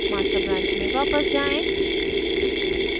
master branch में वापस जाएँ